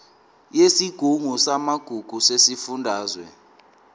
yesigungu samagugu sesifundazwe